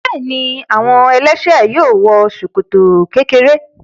Bẹ́ẹ̀ni, àwọn ẹlẹ́ṣẹ̀ẹ́ yóò wọ ṣòkòtò kékeré.